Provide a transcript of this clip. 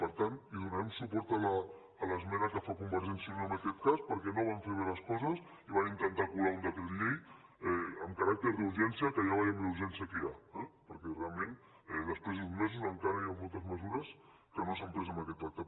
per tant hi donarem suport a l’esmena que fa convergència i unió en aquest cas perquè no van fer bé les coses i van intentar colar un decret llei amb caràcter d’urgència que ja veiem la urgència que hi ha eh perquè realment després d’uns mesos encara hi han moltes mesures que no s’han pres en aquest pacte